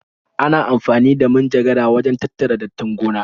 Ana amfani da manjagara wajen tattara dattin gona.